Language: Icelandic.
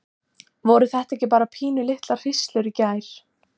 Voru þetta ekki bara pínulitlar hríslur í gær?